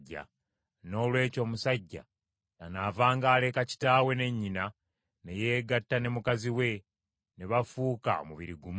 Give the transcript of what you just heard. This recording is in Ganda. Noolwekyo omusajja ky’anaavanga aleka kitaawe ne nnyina ne yeegatta ne mukazi we, ne bafuuka omubiri gumu.